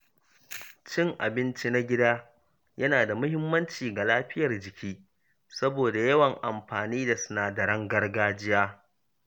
Cin abinci na gida yana da muhimmanci ga lafiyar jiki saboda yawan amfani da sinadaran gargajiya.